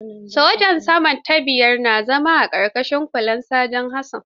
Soja sama da biyar na zama a ƙarƙashin kulawar Saja Hassan.